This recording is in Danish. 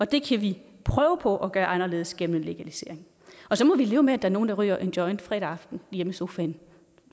det kan vi prøve på at gøre anderledes gennem en legalisering og så må vi leve med at der er nogle der ryger en joint fredag aften hjemme i sofaen